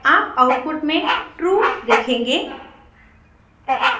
आप आउटपुट में ट्रू देखेंगे